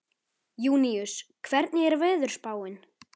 Júníus, hvernig er veðurspáin?